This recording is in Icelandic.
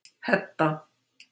Hedda